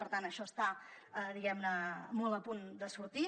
per tant això està diguem ne molt a punt de sortir